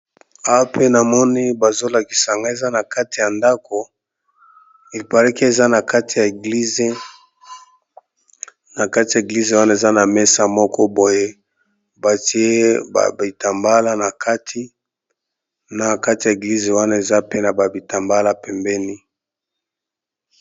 Awa pe namoni bazo lakisa nga eza na kati ya ndako il parait que eza na kati ya eglize. Na kati ya eglize wana eza na mesa moko boye batie ba bitambala na kati, na kati ya eglize wana eza pe na ba bitambala pembeni.